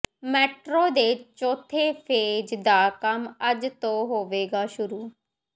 metro ਦੇ ਚੌਥੇ phase ਦਾ ਕੰਮ ਅੱਜ ਤੋਂ ਹੋਵੇਗਾ ਸ਼ੁਰੂ